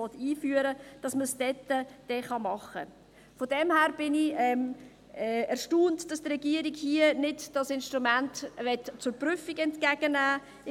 Daher bin ich erstaunt, dass die Regierung dieses Instrument hier nicht zur Prüfung entgegennehmen will.